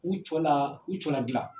U cɔ la u cɔ ladilan.